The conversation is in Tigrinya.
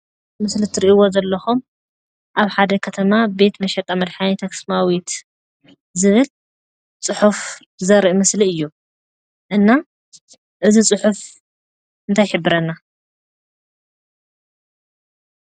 እዚ እትሪእዎ ዘለኩም ኣብ ሓደ ከተማ ቤት መሸጣ መድሓኒ ኣክሱማዊት ዝብል ፅሑፍ ዘርኢ ምስሊ እዩ፡፡ እና እዚ ፅሑፍ እንታይ ይሕብረና?